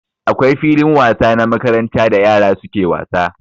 Akwai filin wasa na makaranta da yara suke wasa.